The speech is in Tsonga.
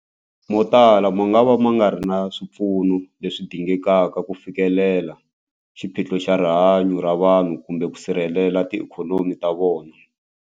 Motala mangava ma nga ri na swipfuno leswi dingekaka ku fikelela xiphiqo xa rihanyu ra vanhu kumbe ku sirhelela tiikhonomi ta vona.